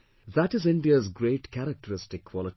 That is India's great characteristic quality